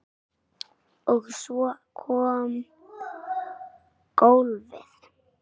Og svo kom golfið.